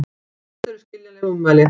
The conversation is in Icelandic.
Þetta eru skiljanleg ummæli